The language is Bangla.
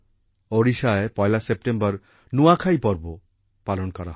ওড়িশায় ১লা সেপটেম্বর নুয়াখাই পর্ব ও পালন করা হবে